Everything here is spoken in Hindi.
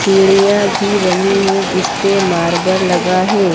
सीढ़ियां भी बनी है जिस पे मार्बल लगा है।